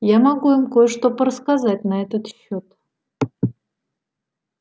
я могу им кое-что порассказать на этот счёт